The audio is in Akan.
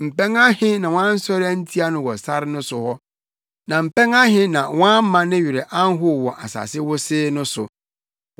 Mpɛn ahe na wɔansɔre antia no wɔ sare no so hɔ, na mpɛn ahe na wɔamma ne werɛ anhow wɔ asase wosee no so!